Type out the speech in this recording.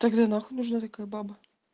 тогда нахуй нужна такая баба